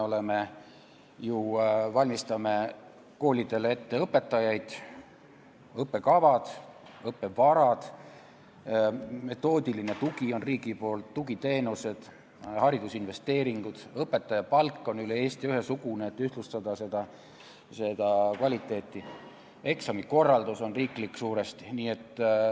Me ju valmistame koolidele ette õpetajaid ning õppekavad, õppevarad ja metoodiline tugi on riigi poolt, ka tugiteenused ja haridusinvesteeringud, õpetaja palk on üle Eesti ühesugune, et seda kvaliteeti ühtlustada, eksamikorraldus on suuresti riiklik.